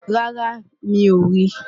rárá, mi ò rí i